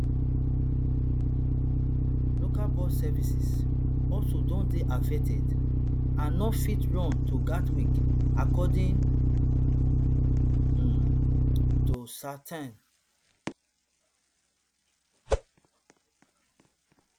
local bus services also don dey affected and no fit run to gatwick according um to southern